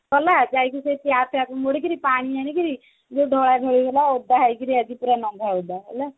ଗଲା ଯାଇକି ସେ tap ଟାକୁ ମୋଡିକିଣି ପାଣି ଆଣିକିଣି ଟିକେ ଧଳା ଢଳି ହେଇଗଲା ଓଦା ହେଇକିନି ଆଜି ପୁଣି ନଂଘା ଓଦା ହେଲା